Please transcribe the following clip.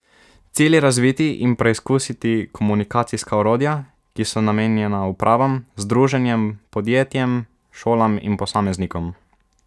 Cilj je razviti in preizkusiti komunikacijska orodja, ki so namenjena upravam, združenjem, podjetjem, šolam in posameznikom.